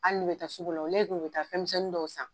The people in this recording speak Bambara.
Hali n'u bɛ taa sugu la u ka taa fɛnmisɛnnin dɔw san.